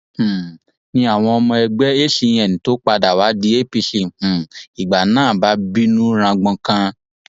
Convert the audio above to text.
um ni àwọn ọmọ ẹgbẹ acn tó padà wàá di apc um ìgbà náà bá bínú rangbonkan